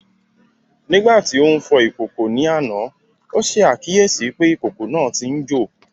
Nígbà tí ó ń fọ ìkòkò ní àná, ó ṣe àkíyèsí pé ìkòkò náà tí ń jò